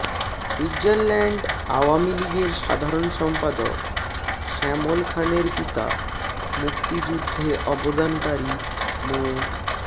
Switzerland Awami লীগের সাধারণ সম্পাদক শ্যামল খানের পিতা মুক্তিযুদ্ধে অবদানকারী মো